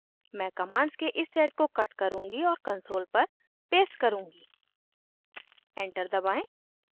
मैं कमांड्स के इस सेट को कट करुँगी और कंसोल पर पेस्ट करुँगी एंटर दबाएं